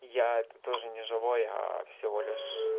я это тоже не живой всего лишь